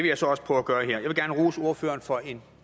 jeg så også prøve at gøre her jeg vil gerne rose ordføreren for en